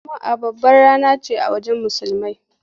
Juma’a babbar rana ce a wajen Musulmai.